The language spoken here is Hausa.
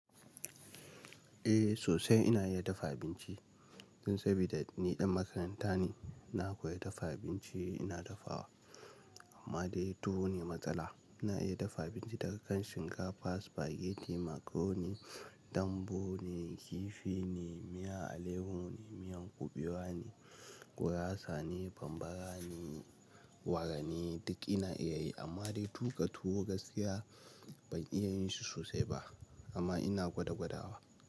Eh sosai ina iya dafa abinci, don saboda ni ɗan makaranta ne. Na koya dafa abinci ina dafawa, amma dai tuwo ne matsala. Ina iya dafa abinci daga kan shinkafa, spaghetti, macaroni, dambu ne, kifi ne, miya alayyaho ne, miyan kuɓewa ne, gurasa ne, bambara ne, wara ne duk ina iya yi amma dai tuƙa tuwo gaskiya ban iya yin shi sosai ba, amma ina gwada gwadawa.